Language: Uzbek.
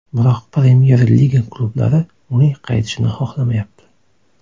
Biroq Premyer Liga klublari uning qaytishini xohlamayapti.